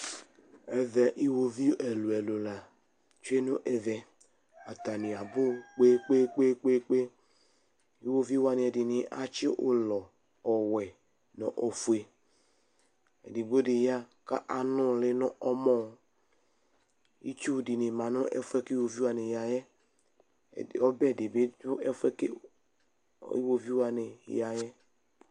Ɛmɛ iwoviu ɛlʋɛlʋ la tsue n' ɛvɛ, atanɩ abʋ ƙpeƙpeƙpe :iwoviu wanɩ ɛɖɩnɩ atsɩ ʋlɔ:ɔwɛ nʋ ofue; efigbo ɖɩ ƴa ƙ'anʋlɩ nʋ ɔmɔItsu dɩnɩ ma nʋ ɛfʋɛ ƙʋ iwoviu wanɩ ƴa ƴɛƆbɛ ɖɩ bɩ ɖʋ ɛfʋɛ kʋ iwviu wanɩ ƴaƴɛ